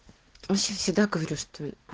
все всегда говорю что